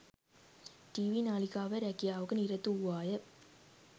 TV නාලිකාවේ රැකියාවක නිරත වූවාය